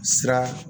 Sira